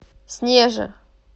снеже